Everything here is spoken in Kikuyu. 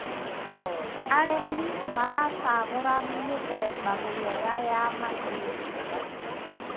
Arĩmi maracagũra mĩthemba mĩega ya mahiũ.